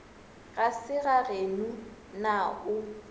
ga se gageno na o